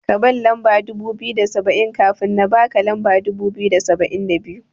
Kaban lamba dubu biyu da saba'in, kafin na baka lamba dubu biyu da saba'in da biyu.